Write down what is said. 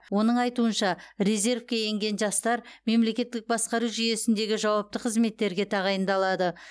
оның айтуынша резервке енген жастар мемлекеттік басқару жүйесіндегі жауапты қызметтерге тағайындалады